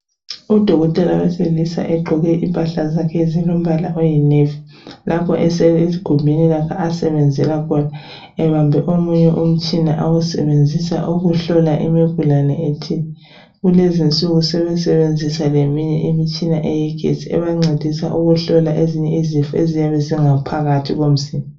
Udokotela wesilisa ogqoke impahla zakhe ezilombala oyinevi. Lapha usegumbini lakhe lapho asebenzèla khona ubambe omunye umtshina awusebenzisa ukuhlola imikhuhlane ethile. Kulezinsuku sebesebenzisa eminye imitshina yegetsi ebancedisa ukuhlola ezinye izifo eziyabe zingaphakathi komzimba.